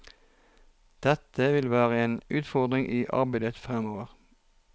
Dette vil være en utfordring i arbeidet fremover.